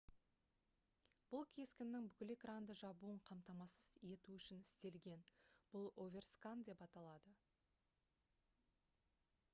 бұл кескіннің бүкіл экранды жабуын қамтамасыз ету үшін істелген бұл оверскан деп аталады